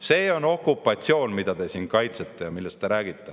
See on okupatsioon, mida te siin kaitsete ja millest te räägite.